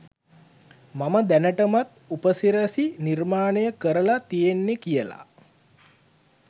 මම දැනටමත් උපසිරසි නිර්මාණය කරලා තියෙන්නේ කියලා